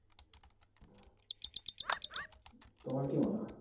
তোমার কি মনে হয়?